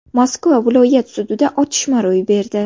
Moskva viloyat sudida otishma ro‘y berdi.